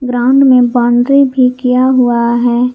Ground में boundary भी किया हुआ है।